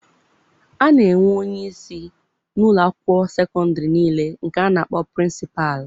A na-enwe onye isi n'ụlọ akwụkwọ sekọndịrị niile nke a na-akpọ 'Prịnsịpalụ'.